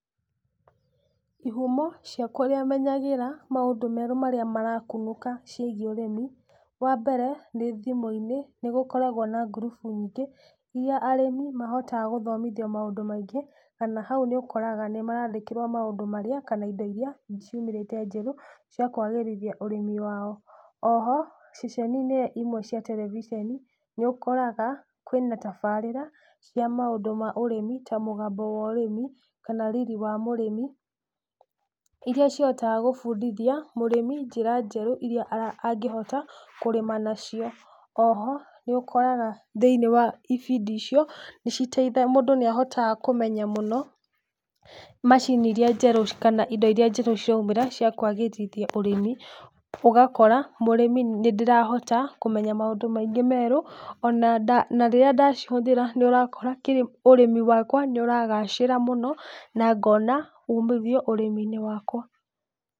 Ihumo cia kũrĩa menyagĩra maũndũ merũ marĩa marakunũka ciĩgiĩ ũrĩmi, wa mbere nĩ thimũ-inĩ, nĩ gũkoragwo na ngurubu nyingĩ, iria arĩmi mahotaga gũthomithio maũndũ maingĩ, ona hau nĩ ũkoraga nĩ marandĩkĩrwo maũndũ marĩa kana indo iria ciumĩrĩte njerũ cia kũagĩrithia ũrĩmi wao, Oho, ceceni-inĩ imwe cia terevisheni nĩ ũkoraga kwĩna tabarĩra cia maũndũ ma ũrĩmi ta mũgambo wa ũrĩmi kana Riri wa mũrĩmi, iria cihotaga gũbundithia mũrĩmi njĩra njerũ iria angĩhota kũrĩma nacio. Oho, nĩ ũkoraga thĩiniĩ wa ibindi icio. mũndu nĩ ahotaga kũmenya mũno, macini iria njerũ kana indo iria njerũ ciraumĩra cia kwagĩrithia ũrĩmi, ũgakora mũrĩmi, nĩ ndĩrahota kũmenya maũndũ maingĩ merũ, na rĩrĩa ndacihũthĩra nĩ ũrakora ũrĩmi wakwa nĩ ũragacĩra mũno na ngona ũmithio ũrĩmi-inĩ wakwa.